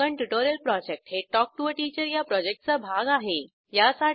spoken tutorial project हे talk to teacher या प्रॉजेक्टचा भाग आहे